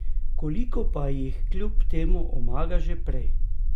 Koliko pa jih kljub temu omaga že prej?